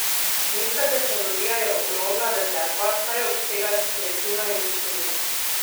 Nizka tehnologija je ogromna rezerva, saj obsega tretjino industrije.